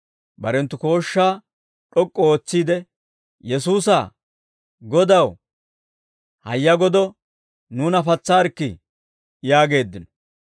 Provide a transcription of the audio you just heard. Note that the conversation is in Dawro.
barenttu kooshshaa d'ok'k'u ootsiide, «Yesuusa, Godaw, hayya godo nuuna patsaarikkii!» yaageeddino.